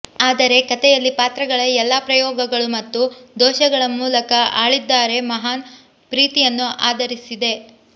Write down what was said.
ಆದರೆ ಕಥೆಯಲ್ಲಿ ಪಾತ್ರಗಳ ಎಲ್ಲಾ ಪ್ರಯೋಗಗಳು ಮತ್ತು ದೋಷಗಳ ಮೂಲಕ ಆಳಿದ್ದಾರೆ ಮಹಾನ್ ಪ್ರೀತಿಯನ್ನು ಆಧರಿಸಿದೆ